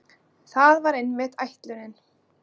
Það var einmitt ætlunin.